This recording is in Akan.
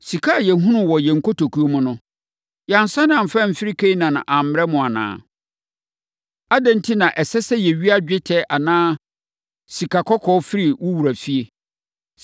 Sika a yɛhunuu wɔ yɛn nkotokuo mu no, yɛansane amfa amfiri Kanaan ammrɛ mo anaa? Adɛn enti na ɛsɛ sɛ yɛwia dwetɛ anaa sikakɔkɔɔ firi wo wura fie?